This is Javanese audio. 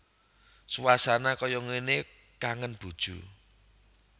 Suasana kaya ngene kangen bojo